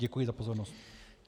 Děkuji za pozornost.